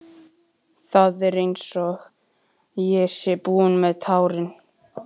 Það er einsog ég sé búin með tárin.